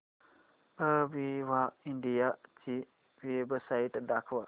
Aviva India ची website दाखवा